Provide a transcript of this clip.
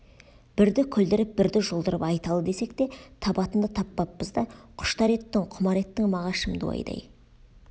бірді күлдіріп бірді жұлдырып айталы десек те табатынды таппаппыз да құштар еттің құмар еттің мағашым дуайдай